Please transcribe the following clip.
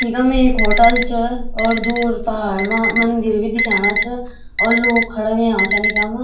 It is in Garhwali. इखम एक होटल च और दूर पहाड़ मा मंदिर भी दिखेणा च और लोग खड़ा होयां छन इखम।